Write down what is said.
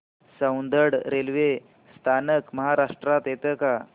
Soundad railway स्थानक महाराष्ट्रात येतं का